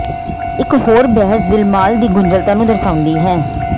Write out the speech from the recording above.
ਇਕ ਹੋਰ ਬਹਿਸ ਦਿਲਮਾਲ ਦੀ ਗੁੰਝਲਤਾ ਨੂੰ ਦਰਸਾਉਂਦੀ ਹੈ